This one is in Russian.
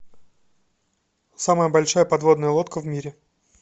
самая большая подводная лодка в мире